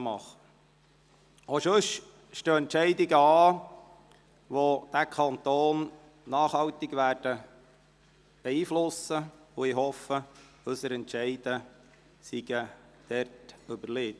Auch sonst stehen Entscheidungen an, welche diesen Kanton nachhaltig beeinflussen werden, und ich hoffe, unsere Entscheidungen seien wohlüberlegt.